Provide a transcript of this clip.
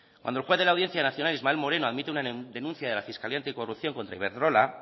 cuando el juez de la audiencia nacional ismael moreno admite una denuncia de la fiscalía anticorrupción contra iberdrola